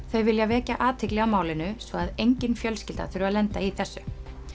þau vilja vekja athygli á málinu svo að engin fjölskylda þurfi að lenda í þessu